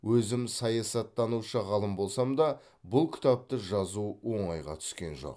өзім саясаттанушы ғалым болсам да бұл кітапты жазу оңайға түскен жоқ